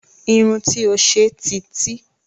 Irun tí ó ṣe ti tí